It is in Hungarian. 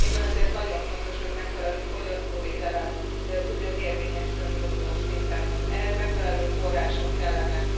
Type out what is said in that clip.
Éppen ezért nagyon fontos, hogy megfelelő fogyasztóvédelem tudjon érvényesülni uniós szinten ehhez megfelelő források kellenek.